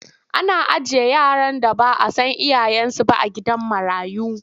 Ana ajiye yara da ba a san iyayensu ba a gidan marayu.